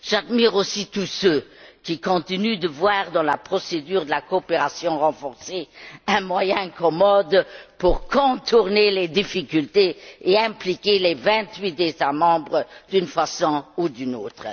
J'admire aussi tous ceux qui continuent de voir dans la procédure de la coopération renforcée un moyen commode pour contourner les difficultés et impliquer les vingt huit États membres d'une façon ou d'une autre.